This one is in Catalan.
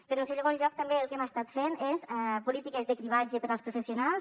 però en segon lloc també el que hem estat fent és polítiques de cribratge per als professionals